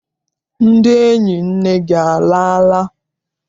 Ndị enyi nne gị alala?